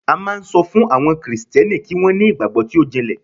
a ma n so fun àwọn Kristẹni kì wan ni igbagbo ti o jinle